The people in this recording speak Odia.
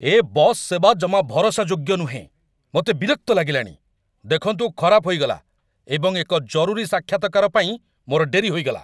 ଏ ବସ୍ ସେବା ଜମା ଭରସାଯୋଗ୍ୟ ନୁହେଁ, ମୋତେ ବିରକ୍ତ ଲାଗିଲାଣି। ଦେଖନ୍ତୁ ଖରାପ ହୋଇଗଲା, ଏବଂ ଏକ ଜରୁରୀ ସାକ୍ଷାତକାର ପାଇଁ ମୋର ଡେରି ହୋଇଗଲା!